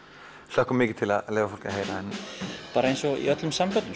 hlökkum mikið til að leyfa fólki að heyra bara eins og í öllum samböndum